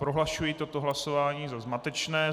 Prohlašuji toto hlasování za zmatečné.